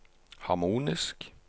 harmonisk